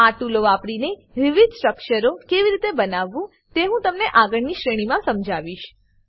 આ ટૂલો વાપરીને વિવિધ સ્ટ્રક્ચરો કેવી રીતે બનાવવા તે હું તમને આગળની શ્રેણીમા સમજાવીશ